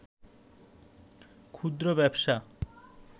ক্ষুদ্র ব্যবসা